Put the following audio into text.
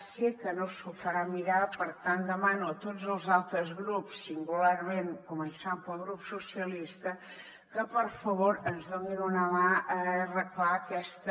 sé que no s’ho farà mirar per tant demano a tots els altres grups singularment començant pel grup socialistes que per favor ens ajudin a arreglar aquesta